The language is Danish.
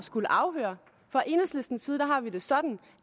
skulle afhøre fra enhedslistens side har vi det sådan